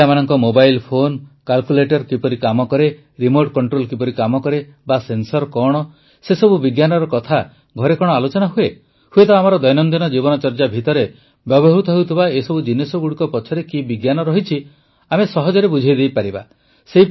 ତାର mobile phone calculator କିପରି କାମ କରେ ରିମୋଟ୍ କଂଟ୍ରୋଲ କିପରି କାମ କରେ ବା ସେନ୍ସର କଣ ସେସବୁ ବିଜ୍ଞାନର କଥା ଘରେ କଣ ଆଲୋଚନା ହୁଏ ହୁଏତ ଆମର ଦୈନନ୍ଦିନ ଜୀବନଚର୍ଯ୍ୟା ଭିତରେ ବ୍ୟବହୃତ ଏସବୁ ଜିନିଷଗୁଡ଼ିକ ପଛରେ କି ବିଜ୍ଞାନ ରହିଛି ଆମେ ସହଜରେ ବୁଝାଇଦେଇପାରିବା